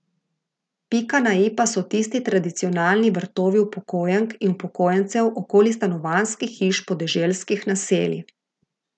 Pika na i pa so tisti tradicionalni vrtovi upokojenk in upokojencev okoli stanovanjskih hiš podeželskih naselij.